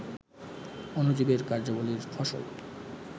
অণুজীবের কার্যাবলীর ফসল